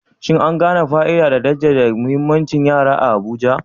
Shin an gane fa'ida da kuma jaddada muhimmancin yara a Abuja?